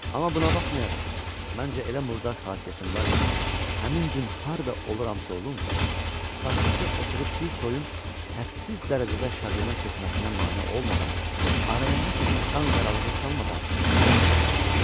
Amma buna baxmayaraq, məncə elə murdar xasiyyətim var ki, həmin gün harda oluramsa olum, sakitcə oturub bir toyun hədsiz dərəcədə şadyana keçməsinə mane olmadan, araya nəsə bir qanqaralığı salmadan dura bilmirəm.